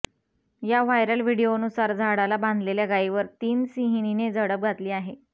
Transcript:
या व्हायरल व्हिडीओनुसार झाडाला बांधलेल्या गायीवर तीन सिंहीणीने झडप घातली आहे